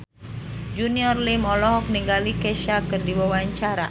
Junior Liem olohok ningali Kesha keur diwawancara